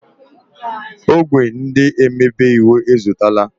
Ogwé ndị omebe iwu ezutela.